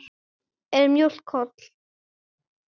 Er mjólk holl?